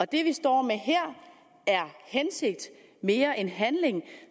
det vi står med her er hensigt mere end handling